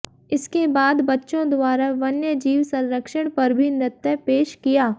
इसके बाद बच्चों द्वारा वन्य जीव संरक्षण पर भी नृत्य पेश किया